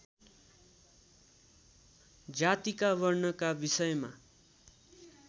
जातिका वर्णका विषयमा